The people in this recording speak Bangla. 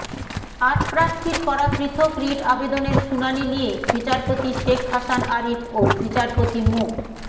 আট প্রার্থীর করা পৃথক রিট আবেদনের শুনানি নিয়ে বিচারপতি শেখ হাসান আরিফ ও বিচারপতি মো